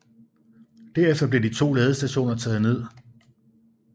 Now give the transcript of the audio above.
Derefter blev de to ladestationer taget ned